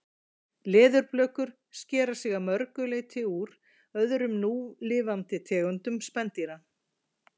leðurblökur skera sig að mörgu leyti úr öðrum núlifandi tegundum spendýra